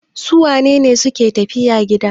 Su wane ne suke tafiya gida?